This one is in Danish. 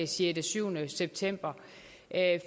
situationen i september